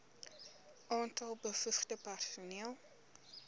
aantal bevoegde personeel